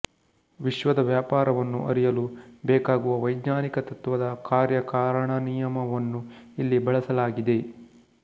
ವಿಶ್ವದ ವ್ಯಾಪಾರವನ್ನು ಅರಿಯಲು ಬೇಕಾಗುವ ವೈಜ್ಞಾನಿಕ ತತ್ತ್ವದ ಕಾರ್ಯಕಾರಣನಿಯಮವನ್ನು ಇಲ್ಲಿ ಬಳಸಲಾಗಿದೆ